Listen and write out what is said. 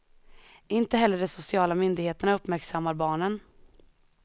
Inte heller de sociala myndigheterna uppmärksammar barnen.